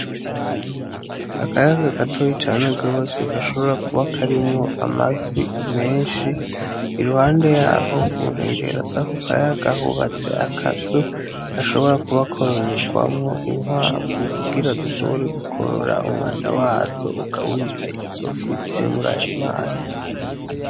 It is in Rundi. Akayaga gatoyi cane gwose gashobora kuba karimwo amafi menshi .Iruhande yaho kunkengera zako kayaga hubatse akazu gashobora kuba kororegwamwo inkwavu ,kugira zishobore gukorora umwanda wazo ugaburire izofi ziri murayo mazi.